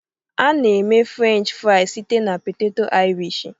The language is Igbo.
A na-eme Frenchị friz site na-poteto Irishi.